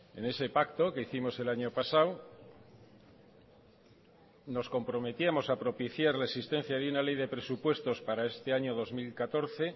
en ese pacto que hicimos el año pasado nos comprometíamos a propiciar la existencia de una ley de presupuestos para este año dos mil catorce